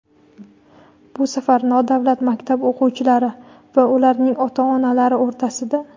Bu safar nodavlat maktab o‘quvchilari va ularning ota-onalar o‘rtasida!.